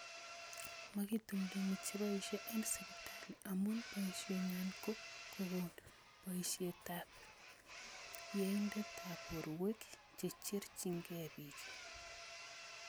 magitumdumii cheboisye en sibitaali amu boisye ng�waan ko kokon boisyetabab yeindaab borweek checherchinkey biik